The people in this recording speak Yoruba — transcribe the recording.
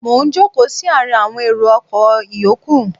Mo ń jókòó sí àárín awọn èrò ọkọ̀ ìyókù.